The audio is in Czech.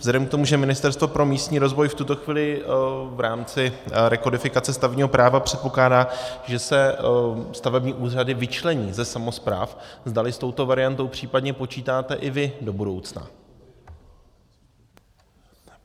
Vzhledem k tomu, že Ministerstvo pro místní rozvoj v tuto chvíli v rámci rekodifikace stavebního práva předpokládá, že se stavební úřady vyčlení ze samospráv, zdali s touto variantou případně počítáte i vy do budoucna.